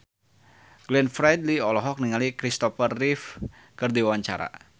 Glenn Fredly olohok ningali Kristopher Reeve keur diwawancara